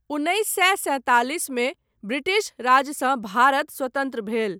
उन्नैस सए सैंतालिस मे ब्रिटिश राजसँ भारत स्वतन्त्र भेल।